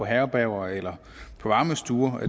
herberger eller varmestuer